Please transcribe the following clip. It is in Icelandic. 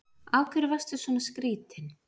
Af hverju varstu svona skrýtin?